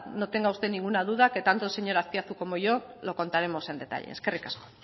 no tenga usted ninguna duda que tanto el señor azpiazu como yo lo contaremos en detalle eskerrik asko